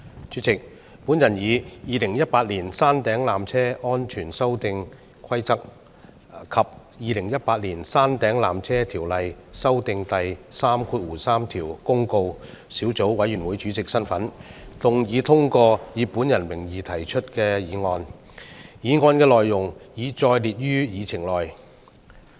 主席，我以《2018年山頂纜車規例》及《2018年山頂纜車條例條)公告》小組委員會主席的身份，動議通過以我的名義提出的議案，議案的內容已載列於議程內。